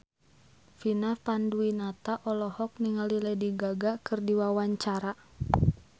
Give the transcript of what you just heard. Vina Panduwinata olohok ningali Lady Gaga keur diwawancara